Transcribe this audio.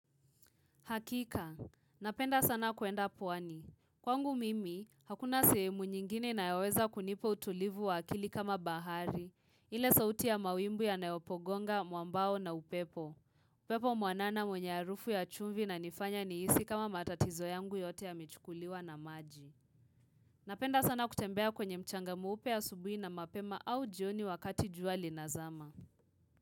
Hakika, napenda sana kuenda pwani. Kwangu mimi, hakuna sehemu nyingine inayoweza kunipa utulivu wa akili kama bahari. Ile sauti ya mawimbi yanayopogonga, mwambao na upepo. Upepo mwanana mwenye harufu ya chumvi inanifanya nihisi kama matatizo yangu yote yamechukuliwa na maji. Napenda sana kutembea kwenye mchanga mweupe asubuhi na mapema au jioni wakati jua linazama.